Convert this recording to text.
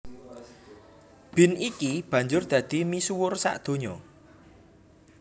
Bean iki banjur dadi misuwur sadonya